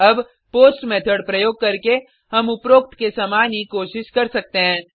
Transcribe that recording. अब post method प्रयोग करके हम उपरोक्त के समान ही कोशिश कर सकते हैं